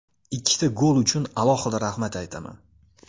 Ikkita gol uchun alohida rahmat aytaman.